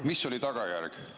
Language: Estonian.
Mis oli tagajärg?